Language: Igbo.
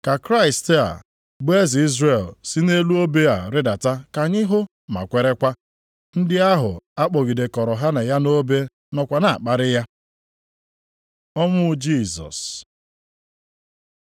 Ka Kraịst a, bụ Eze Izrel, si nʼelu obe a rịdata ka anyị hụ ma kwerekwa.” Ndị ahụ a kpọgidekọrọ ha na ya nʼobe nọkwa na-akparị ya. Ọnwụ Jisọs